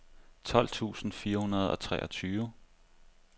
tolv tusind fire hundrede og treogtyve